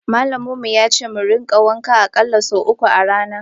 malamin mu yace mu rika wanka akalla sau uku a rana.